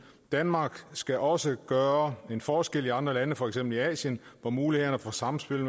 danmark skal også gøre en forskel i andre lande for eksempel i asien hvor mulighederne for samspil